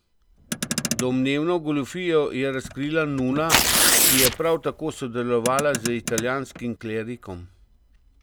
Domnevno goljufijo je razkrila nuna, ki je prav tako sodelovala z italijanskim klerikom.